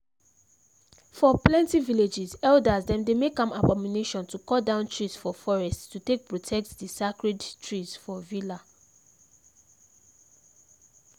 for plenty villages elders dem dey make am abomination to cut down trees for forests to take protect the sacred trees for villa